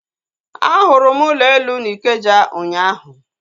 A hụrụ m ụlọ elu na Ikeja ụnyaahụ